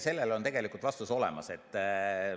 Sellele on tegelikult vastus olemas.